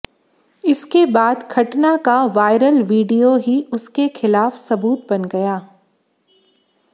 इसके बाद घटना का वायरल वीडियो ही उसके खिलाफ सबूत बन गया